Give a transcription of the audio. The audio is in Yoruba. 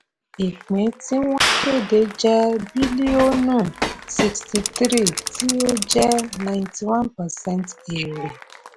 àpapọ̀ ìpín tí wọ́n kéde jẹ́ bílíọ̀nù sixty three tí ó jẹ́ ninety one percent èrè.